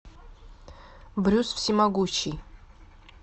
брюс всемогущий